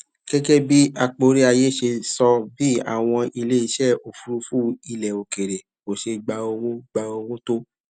gégé bí akporiaye ṣe sọ bí àwọn iléeṣé òfuurufú ilè òkèèrè kò ṣe gba owó gba owó tó